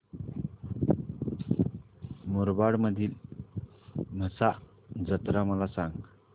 मुरबाड मधील म्हसा जत्रा मला सांग